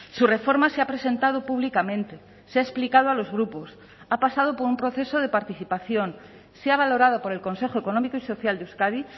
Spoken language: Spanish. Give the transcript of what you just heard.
su reforma se ha presentado públicamente se ha explicado a los grupos ha pasado por un proceso de participación se ha valorado por el consejo económico y social de euskadi